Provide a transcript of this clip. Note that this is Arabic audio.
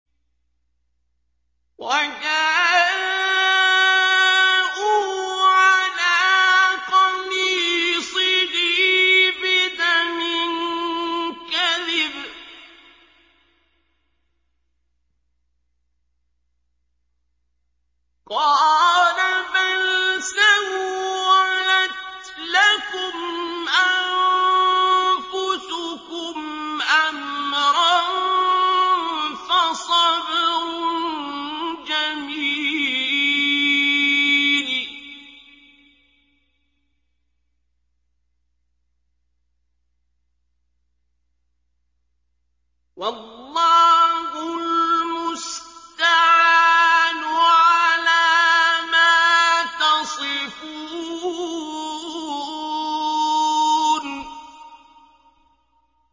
وَجَاءُوا عَلَىٰ قَمِيصِهِ بِدَمٍ كَذِبٍ ۚ قَالَ بَلْ سَوَّلَتْ لَكُمْ أَنفُسُكُمْ أَمْرًا ۖ فَصَبْرٌ جَمِيلٌ ۖ وَاللَّهُ الْمُسْتَعَانُ عَلَىٰ مَا تَصِفُونَ